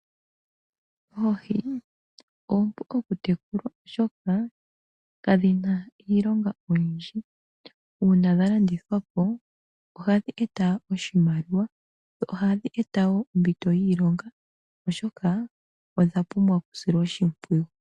Oohi oompu okutekulwa oshoka kadhi na iilonga oyindji. Uuna dha landithwapo oha dhi eta oshimaliwa, dho ohadhi eta wo ompito yiilonga oshoka odha pumbwa okusilwa oshimpwiyu.